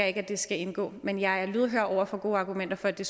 ikke at det skal indgå men jeg er lydhør over for gode argumenter for at det